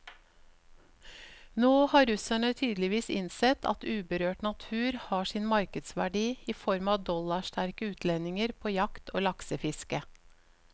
Nå har russerne tydeligvis innsett at uberørt natur har sin markedsverdi i form av dollarsterke utlendinger på jakt og laksefiske.